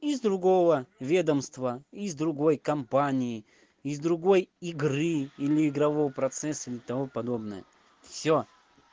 из другого ведомства из другой компании из другой игры или игрового процесса и того подобное всё